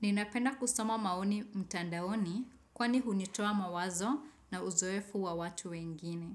Ninapenda kusoma maoni mtandaoni kwani hunitoa mawazo na uzoefu wa watu wengine.